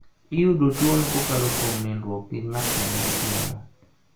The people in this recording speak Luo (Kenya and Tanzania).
Iyudo tuwono kokalo kuom nindruok gi ng�at ma nigi tuwono.